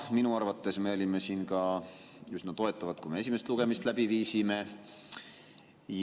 Minu arvates me olime siin ka üsna toetavad, kui me esimest lugemist läbi viisime.